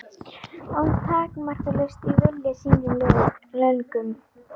Og takmarkalaust í vilja sínum og löngun.